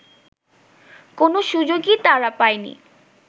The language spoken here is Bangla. কোনো সুযোগই তারা পায়নি